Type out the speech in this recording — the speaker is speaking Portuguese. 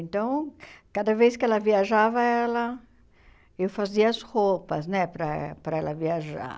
Então, cada vez que ela viajava, ela eu fazia as roupas né para e para ela viajar.